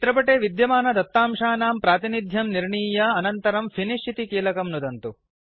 चित्रपटे विद्यमानदत्तांशानां प्रातिनिध्यं निर्णीय अनन्तरं फिनिश इति कीलकं नुदन्तु